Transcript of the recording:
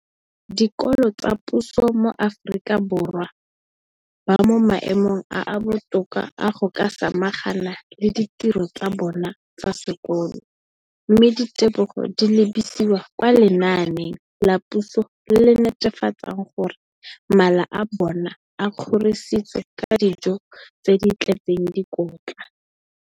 dikolo tsa puso mo Aforika Borwa ba mo maemong a a botoka a go ka samagana le ditiro tsa bona tsa sekolo, mme ditebogo di lebisiwa kwa lenaaneng la puso le le netefatsang gore mala a bona a kgorisitswe ka dijo tse di tletseng dikotla.